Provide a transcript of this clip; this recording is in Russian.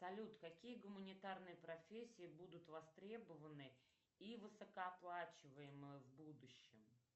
салют какие гуманитарные профессии будут востребованы и высокооплачиваемы в будущем